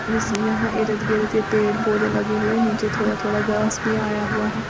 यहां इरध गिरध ये पेड़ पौधे भी लगे हुए नीचे थोड़ा थोड़ा घास भी आया हुआ है।